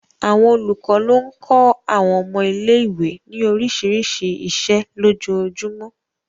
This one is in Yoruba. Àwọn olùkọ́ ló ń kọ́ àwọn ọmọ ilé ìwé ní oríṣiríṣi iṣẹ́ lójoojúmọ́